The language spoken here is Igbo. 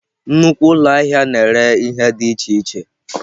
Nnukwu ụlọ ahịa na-ere ihe dị iche iche.